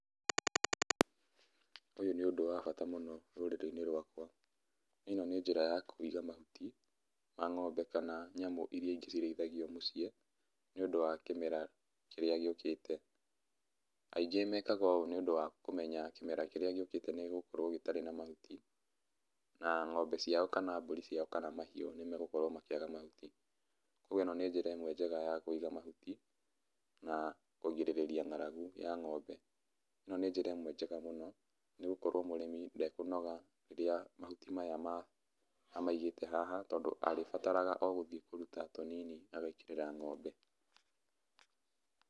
Ũyũ nĩ ũndũ wa bata mũno rũrĩrĩ-inĩ rwakwa. Ĩno, nĩ njĩra ya kuiga mahuti, ma ng'ombe kana nyamũ iria ingĩ cirĩithagio mũciĩ, nĩũndũ wa kĩmera kĩrĩa gĩũkĩte. Aingi mekaga ũũ nĩũndũ wa kũmenya kĩmera kĩrĩa gĩũkĩte nĩgĩgũkorwo gĩtarĩ na mahuti, na ng'ombe ciao, kana mbũri ciao, kana mahiũ nĩmagũkorwo makĩaga mahuti. Koguo ĩno nĩ njĩra ĩmwe njega ya kũiga mahuti, na kũgirĩrĩa ng'aragu ya ng'ombe. Ĩno nĩ njĩra imwe njega mũno, nĩgũkorwo mũrĩmi ndekũnoga rĩrĩa mahuti maya ma, amaigĩte haha, tondũ arĩbataraga o gũthiĩ kũruta tũnini agekĩrĩra ng'ombe.